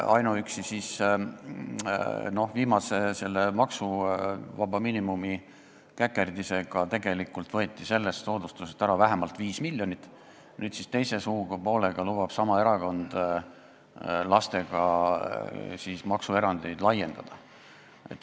Ainuüksi selle viimase maksuvaba miinimumi käkerdisega võeti sellest soodustusest ära vähemalt 5 miljonit, nüüd lubab sama erakond teise suupoolega lastega seotud maksuerandeid laiendada.